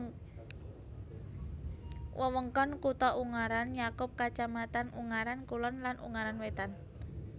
Wewengkon kutha Ungaran nyakup kacamatan Ungaran Kulon lan Ungaran Wétan